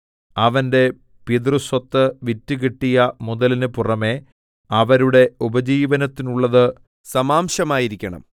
അവന്റെ പിതൃസ്വത്ത് വിറ്റുകിട്ടിയ മുതലിനു പുറമെ അവരുടെ ഉപജീവനത്തിനുള്ളത് സമാംശമായിരിക്കണം